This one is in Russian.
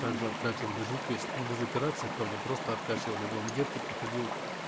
также откачивали жидкость ну без операции правда просто откачивали в лангетке проходил